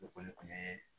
Okɔli kun ye